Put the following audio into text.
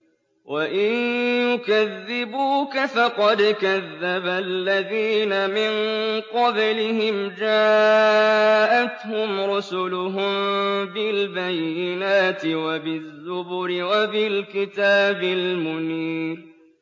وَإِن يُكَذِّبُوكَ فَقَدْ كَذَّبَ الَّذِينَ مِن قَبْلِهِمْ جَاءَتْهُمْ رُسُلُهُم بِالْبَيِّنَاتِ وَبِالزُّبُرِ وَبِالْكِتَابِ الْمُنِيرِ